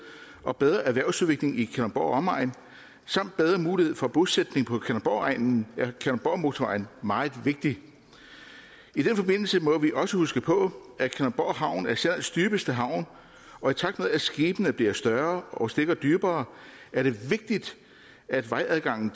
og bedre erhvervsudvikling i kalundborg og omegn samt bedre mulighed for bosætning på kalundborgegnen er kalundborgmotorvejen meget vigtig i den forbindelse må vi også huske på at kalundborg havn er sjællands dybeste havn og i takt med at skibene bliver større og stikker dybere er det vigtigt at vejadgangen